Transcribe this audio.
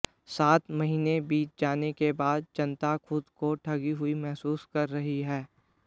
सात महीने बीत जाने के बाद जनता खुद को ठगी हुई महसूस कर रही है